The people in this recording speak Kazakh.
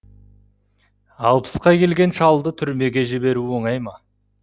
алпысқа келген шалды түрмеге жіберу оңай ма